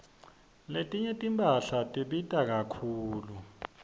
letinye timphahla tibita kakhulu